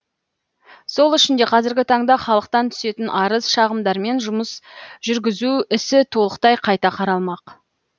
сол үшін де қазіргі таңда халықтан түсетін арыз шағымдармен жұмыс жүргізу ісі толықтай қайта қаралмақ